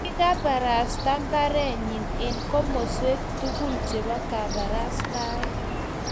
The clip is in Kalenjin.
kikabarasta baretnyin eng' komoswek tugul chebo kabarastaet.